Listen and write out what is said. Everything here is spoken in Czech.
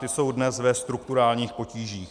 Ty jsou dnes ve strukturálních potížích.